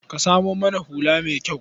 Ka samo mana hula mai kyau.